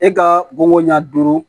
E ka bon ɲa duuru